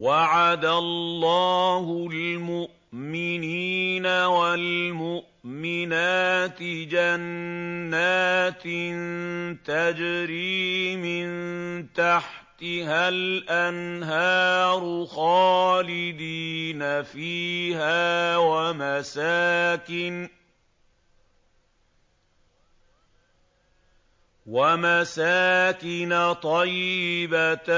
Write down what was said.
وَعَدَ اللَّهُ الْمُؤْمِنِينَ وَالْمُؤْمِنَاتِ جَنَّاتٍ تَجْرِي مِن تَحْتِهَا الْأَنْهَارُ خَالِدِينَ فِيهَا وَمَسَاكِنَ طَيِّبَةً